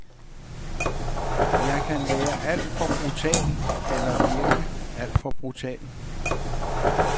Jeg kan være alt for brutal, eller virke alt for brutal.